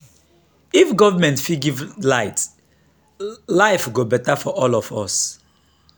if government fit give light life go better for all of us"